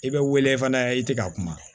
I bɛ wele fana i tɛ ka kuma